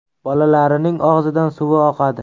Bolalarining og‘zidan suvi oqadi.